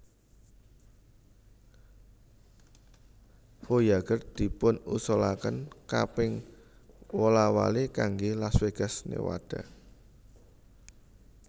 Voyager dipunusulakan kaping wola wali kangge Las Vegas Nevada